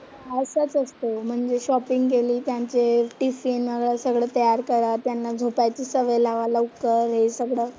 ह्यातच असते, म्हणजे शॉपिंग केली, त्यांचे टिफिन सगळं तयार करा, त्यांना झोपायची सवय लावा लवकर हे सगळं.